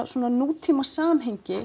svona